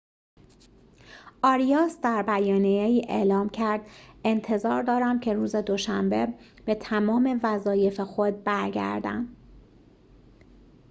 آریاس در بیانیه‌ای اعلام کرد انتظار دارم که روز دوشنبه به تمام وظایف خود برگردم